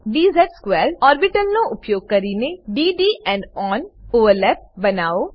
dz2 orbital નો ઉપયોગ કરીને d D end on overlap બનાવો